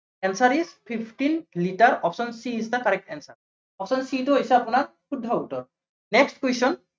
answer is fifteen litre option c is the correct answer, option c টো হৈছে আপোনাৰ শুদ্ধ উত্তৰ। next question